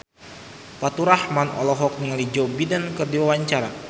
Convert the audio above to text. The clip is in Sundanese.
Faturrahman olohok ningali Joe Biden keur diwawancara